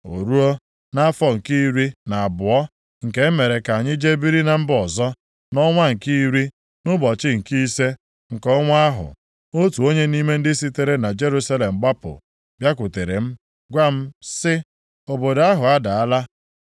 O ruo nʼafọ nke iri na abụọ nke e mere ka anyị jee biri na mba ọzọ, nʼọnwa nke iri, nʼụbọchị nke ise nke ọnwa ahụ, otu onye nʼime ndị sitere na Jerusalem gbapụ bịakwutere m gwa m sị, “Obodo ahụ adaala.”